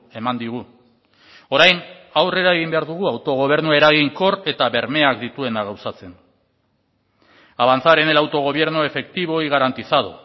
eman digu orain aurrera egin behar dugu autogobernu eraginkor eta bermeak dituena gauzatzen avanzar en el autogobierno efectivo y garantizado